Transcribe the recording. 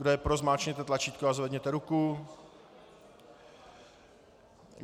Kdo je pro, zmáčkněte tlačítko a zvedněte ruku.